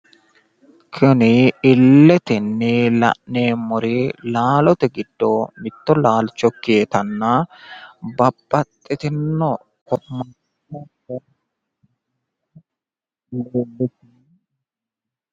Kuni illetenni la'neemori laalote giddo mitto laalcho ikkewotanna babbaxxitino..